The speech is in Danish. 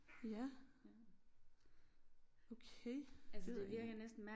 Ja. Okay det ved jeg ikke